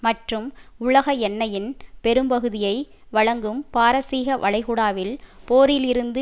மற்றும் உலக எண்ணெயின் பெரும்பகுதியை வழங்கும் பாரசீக வளைகுடாவில் போரிலிருந்து